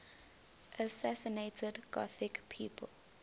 assassinated gothic people